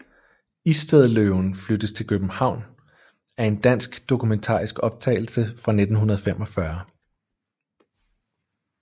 Istedløven flyttes til København er en dansk dokumentarisk optagelse fra 1945